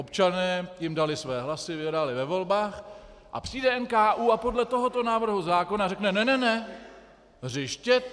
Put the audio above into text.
Občané jim dali své hlasy, vyhráli ve volbách, a přijde NKÚ a podle tohoto návrhu zákona řekne: "Ne, ne, ne, hřiště?